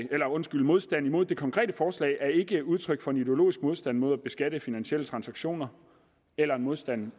modstand mod det konkrete forslag er ikke udtryk for en ideologisk modstand mod at beskatte finansielle transaktioner eller en modstand